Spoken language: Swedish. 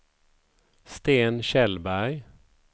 Sten Kjellberg